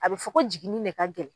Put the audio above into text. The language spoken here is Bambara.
A bi fɔ ko jiginni de ka gɛlɛn